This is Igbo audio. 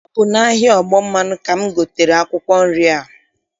Ọ bụ n'ahịa ọgbọmmanụ ka m gotere akwụkwọ nri a.